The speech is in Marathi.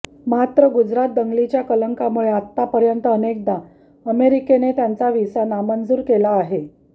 मात्र गुजरात दंगलीच्या कलंकामुळे आतापर्यंत अनेकदा अमेरिकेने त्यांचा व्हिसा नामंजूर केला आहे